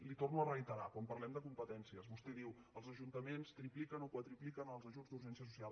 li ho torno a reiterar quan parlem de competències vostè diu els ajuntaments tripliquen o quadrupliquen els ajuts d’urgència social